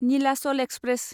Nilachal express